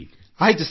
ಆಯ್ತು ಸರ್